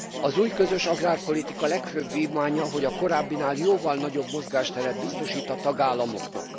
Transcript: Az új közös agrárpolitika legfőbb vívmánya, hogy a korábbinál jóval nagyobb mozgásteret biztosít a tagállamoknak.